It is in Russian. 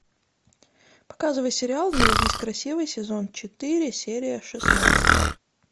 показывай сериал не родись красивой сезон четыре серия шестнадцать